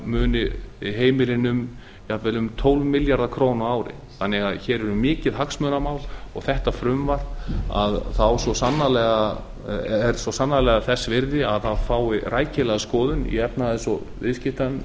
muni heimilin um jafnvel um tólf milljarða króna á ári hér er því mikið hagsmunamál og þessi þingsályktun er svo sannarlega þess virði að hún fái rækilega skoðun í efnahags og viðskiptanefnd